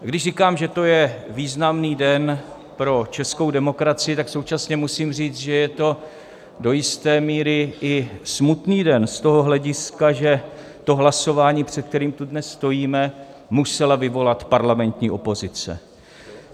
Když říkám, že to je významný den pro českou demokracii, tak současně musím říct, že je to do jisté míry i smutný den z toho hlediska, že to hlasování, před kterým tu dnes stojíme, musela vyvolat parlamentní opozice.